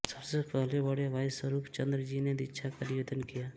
सबसे पहले बड़े भाई सरूपचंद जी ने दीक्षा का निवेदन किया